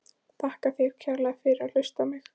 Þakka þér kærlega fyrir að hlusta á mig!